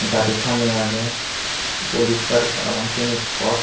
gari tameh ageh police gari parapang siyani